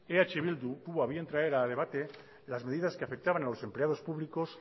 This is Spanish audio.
eh bildu tuvo a bien traer a debate las medidas que afectaban a los empleados públicos